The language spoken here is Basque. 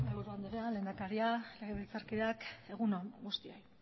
mahaiburu anderea lehendakaria legebiltzarkideak egun on guztioi